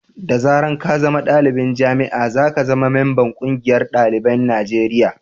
da zaran ka zama dalibin jami'a, za ka zama mamban ƙungiyar dalibin Najeriya